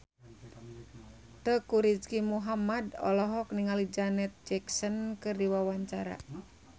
Teuku Rizky Muhammad olohok ningali Janet Jackson keur diwawancara